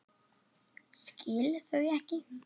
Skil þau ekki.